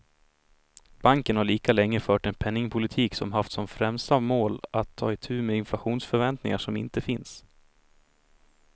Banken har lika länge fört en penningpolitik som haft som främsta mål att ta itu med inflationsförväntningar som inte finns.